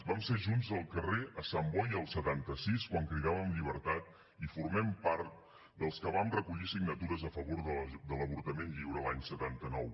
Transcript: vam ser junts al carrer a sant boi el setanta sis quan cridàvem llibertat i formem part dels que vam recollir signatures a favor de l’avortament lliure l’any setanta nou